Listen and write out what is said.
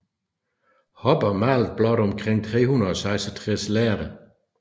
Hopper malede blot omkring 366 lærreder